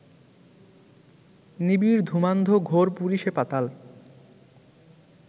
নিবিড় ধূমান্ধ ঘোর পুরী সে পাতাল